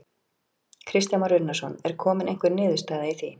Kristján Már Unnarsson: Er komin einhver niðurstaða í því?